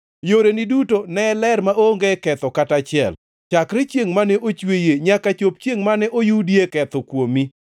Yoreni duto ne ler maonge ketho kata achiel chakre chiengʼ mane ochweyie, nyaka chop chiengʼ mane oyudie ketho kuomi.